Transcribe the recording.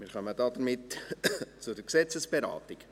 Wir kommen damit zur Gesetzesberatung.